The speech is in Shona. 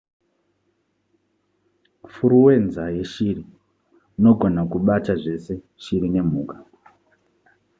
furuwenza yeshiri nogona kubata zvese shiri nemhuka